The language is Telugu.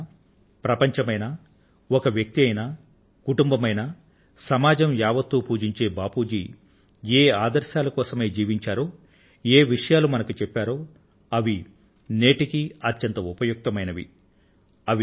భారతదేశమైనా ప్రపంచం అయినా ఒక వ్యక్తి అయినా ఒక కుటుంబం అయినా సమాజం యావత్తూ పూజించే బాపూ జీ ఏ ఆదర్శాల కోసమై జీవించారో ఏ విషయాలు మనకు చెప్పారో అవి నేటికి కూడా అవి అత్యంత ఉపయుక్తమైనవి